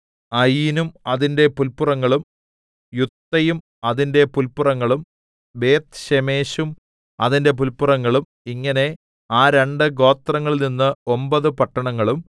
അയീനും അതിന്റെ പുല്പുറങ്ങളും യുത്തയും അതിന്റെ പുല്പുറങ്ങളും ബേത്ത്ശേമെശും അതിന്റെ പുല്പുറങ്ങളും ഇങ്ങനെ ആ രണ്ടു ഗോത്രങ്ങളിൽനിന്ന് ഒമ്പതു പട്ടണങ്ങളും